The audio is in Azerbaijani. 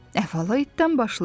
Əvvəl itdən başlayaq.